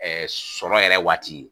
sɔrɔ yɛrɛ waati